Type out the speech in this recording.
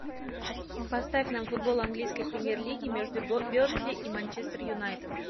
поставь нам футбол английской премьер лиги между бернли и манчестер юнайтед